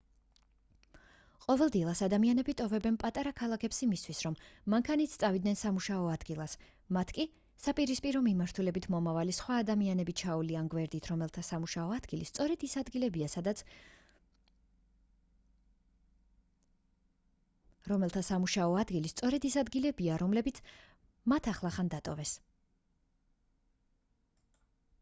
ყოველ დილას ადამიანები ტოვებენ პატარა ქალაქებს იმისთვის რომ მანქანით წავიდნენ სამუშაო ადგილას მათ კი საპირისპირო მიმართულებით მომავალი სხვა ადამიანები ჩაუვლიან გვერდით რომელთა სამუშაო ადგილი სწორედ ის ადგილებია რომლებიც მათ ახლახანს დატოვეს